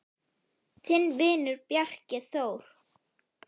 Þinn vinur, Bjarki Þór.